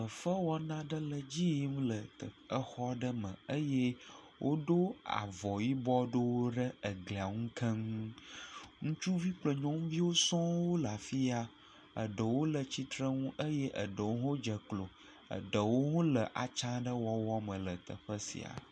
Fefe wɔna aɖe le dzi yim le exɔ aɖe me eye woɖo avɔ yibɔ ɖewo ɖe eglia ŋu keŋ. Ŋutsuvi kple nyɔnuviwo sɔŋ wole afi ya, eɖewo le tsitrenu eye eɖewo dze klo, eɖewo le atsa ɖe wɔwɔ me le teƒe sia.